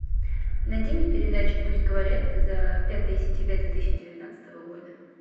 найди мне передачу пусть говорят за пятое сентября две тысячи девятнадцатого года